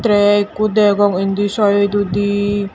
rek ekkho degong indi saidodi.